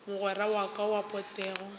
mogwera wa ka wa potego